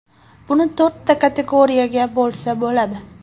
Buni to‘rtta kategoriyaga bo‘lsa bo‘ladi.